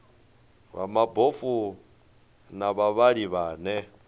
vha mabofu na vhavhali vhane